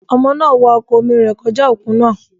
Ọmọ náà wa ọkọ̀ omi rẹ̀ kọjá òkun náà.